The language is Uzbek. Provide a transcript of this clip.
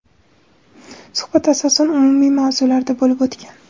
suhbat asosan umumiy mavzularda bo‘lib o‘tgan.